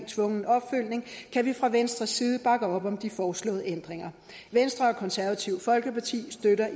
tvungen opfølgning kan vi fra venstres side bakke op om de foreslåede ændringer venstre og konservative folkeparti støtter